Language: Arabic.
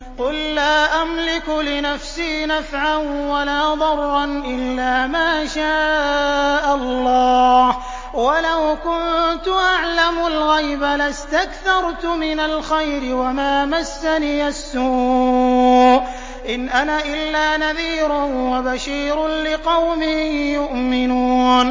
قُل لَّا أَمْلِكُ لِنَفْسِي نَفْعًا وَلَا ضَرًّا إِلَّا مَا شَاءَ اللَّهُ ۚ وَلَوْ كُنتُ أَعْلَمُ الْغَيْبَ لَاسْتَكْثَرْتُ مِنَ الْخَيْرِ وَمَا مَسَّنِيَ السُّوءُ ۚ إِنْ أَنَا إِلَّا نَذِيرٌ وَبَشِيرٌ لِّقَوْمٍ يُؤْمِنُونَ